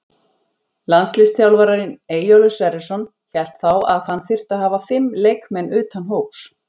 Landsliðsþjálfarinn Eyjólfur Sverrisson hélt þá að hann þyrfti að hafa fimm leikmenn utan hóps.